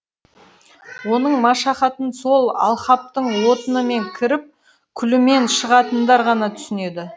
оның машахатын сол алқаптың отынымен кіріп күлімен шығатындар ғана түсінеді